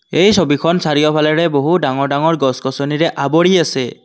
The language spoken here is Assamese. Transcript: এই ছবিখন চাৰিওফালেৰে বহু ডাঙৰ ডাঙৰ গছ গছনিৰে আৱৰি আছে।